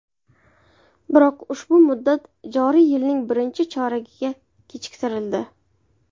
Biroq ushbu muddat joriy yilning birinchi choragiga kechiktirildi.